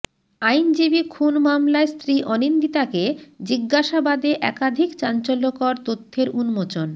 আইনজীবী খুন মামলায় স্ত্রী অনিন্দিতাকে জিজ্ঞাসাবাদে একাধিক চাঞ্চল্যকর তথ্যের উন্মোচন